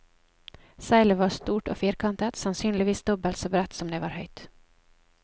Seilet var stort og firkantet, sannsynligvis dobbelt så bredt som det var høyt.